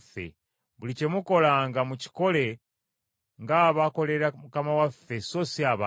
Buli kye mukola mukikole ng’abakolera Mukama waffe so si abantu,